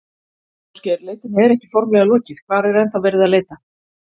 Ásgeir, leitinni er ekki formlega lokið, hvar er ennþá verið að leita?